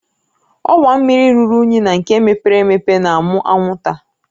Ọwa mmiri ruru unyi na nke mepere emepe na-amụ anwụnta